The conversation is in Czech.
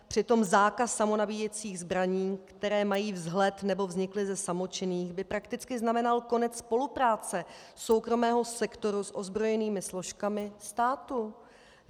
Přitom zákaz samonabíjecích zbraní, které mají vzhled nebo vznikly ze samočinných, by prakticky znamenal konec spolupráce soukromého sektoru s ozbrojenými složkami státu.